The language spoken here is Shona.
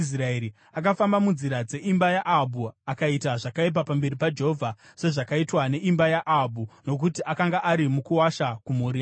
Akafamba munzira dzeimba yaAhabhu akaita zvakaipa pamberi paJehovha, sezvakaitwa neimba yaAhabhu, nokuti akanga ari mukuwasha kumhuri yaAhabhu.